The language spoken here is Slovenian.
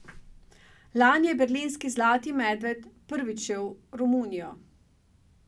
Lani je berlinski zlati medved prvič šel v Romunijo.